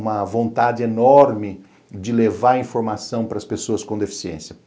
uma vontade enorme de levar informação para as pessoas com deficiência.